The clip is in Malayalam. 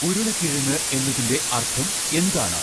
ഉരുളകിഴങ്ങ് എന്നതിന്റെ അർഥം എന്താണ്